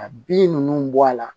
Ka bin ninnu bɔ a la